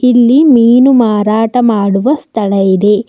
ಇಲ್ಲಿ ಮೀನು ಮಾರಾಟ ಮಾಡುವ ಸ್ಥಳ ಇದೆ.